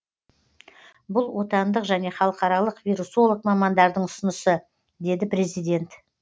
бұл отандық және халықаралық вирусолог мамандардың ұсынысы деді президент